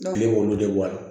Kile b'olu de bɔ a la